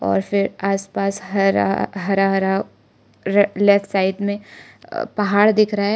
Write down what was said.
और फिर आसपास हरा हरा हरा लेफ्ट साइड में पहाड़ दिख रहा है।